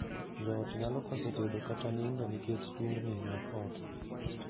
Joot nyalo koso tedo kata nindo nikech tungni mag ot.